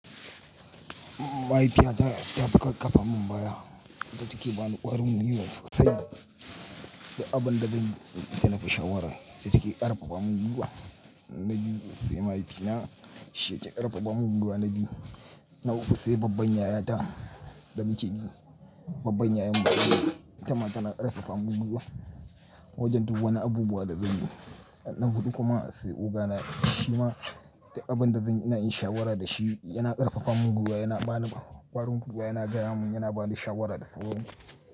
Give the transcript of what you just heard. Mahaifiyata ta fi fafa mun baya, ita take bani ƙwarin gwiwa sosai duk abun da zanyi da ita na ke shawara. Ita take ƙarfafa mun gwiwa. Na biyu sai mahaifina shi yake ƙarfafa mun gwiwa na biyu. Na uku se babban yayata da muke bi. Babban yayanmu ita ma tana ƙarfafa mun gwiwa wajen duk wani abubu da zan bi. Na huɗu kuma sai oga na shi ma duk abin da zanyi ina yin shawara da shi yana ƙarfafa mun gwiwa, yana bani ƙwarin gwiwa, yana gaya mun, yana bani shawara da sauran su.